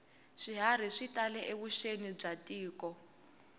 swiharhi swi tale evuxeni bya tiko